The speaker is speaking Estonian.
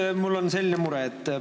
Nüüd mul on selline mure.